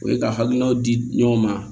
O ye ka hakilinaw di ɲɔgɔn ma